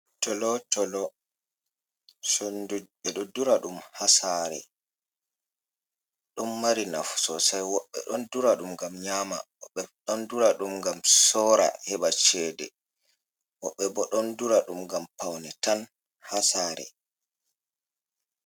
Tolo tolo sondu ɓeɗo dura ɗum ha sare, ɗon mari nafu sosei woɓɓe ɗon dura ɗum ngam nyama, woɓɓe bo ɗon dura ɗum ngam sora heba cede, wobbe bo ɗon dura ɗum ngam paune tan ha sare.